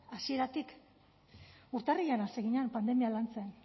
hasieratik urtarrilean hasi ginen pandemia lantzen